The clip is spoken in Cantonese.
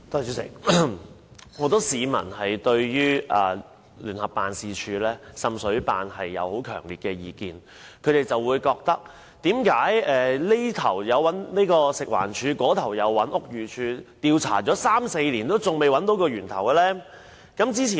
主席，很多市民對聯辦處有強烈意見，他們亦不明白，食環署及屋宇署花三四年進行調查，為何還未找到滲水源頭？